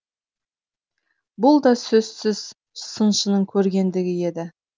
бұл да сөзсіз сыншының көрегендігі еді